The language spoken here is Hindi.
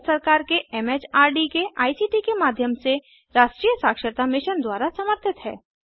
यह भारत सरकार के एम एच आर डी के आई सी टी के माध्यम से राष्ट्रीय साक्षरता मिशन द्वारा समर्थित है